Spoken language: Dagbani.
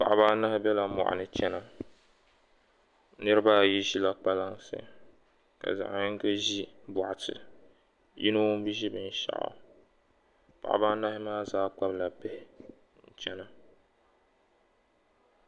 Paɣaba anahi bela mɔɣuni n-chana niriba ayi ʒila kpalansi ka zaɣ' yiŋka ʒi bɔkati ka yino bi ʒiri bin' shɛli paɣaba anahi maa zaa kpabila bihi n-chana